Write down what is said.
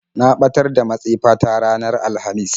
Na ɓatar da matsefa ta ranar alhamis.